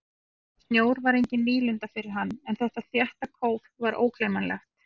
Snjór var engin nýlunda fyrir hann en þetta þétta kóf var ógleymanlegt.